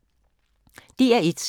DR1